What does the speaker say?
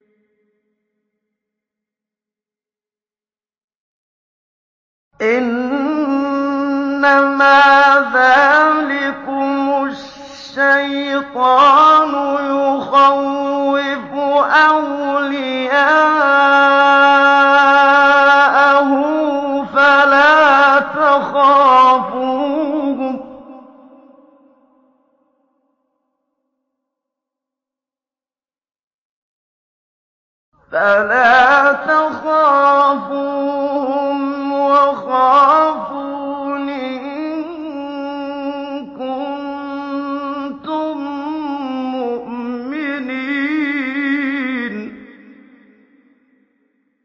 إِنَّمَا ذَٰلِكُمُ الشَّيْطَانُ يُخَوِّفُ أَوْلِيَاءَهُ فَلَا تَخَافُوهُمْ وَخَافُونِ إِن كُنتُم مُّؤْمِنِينَ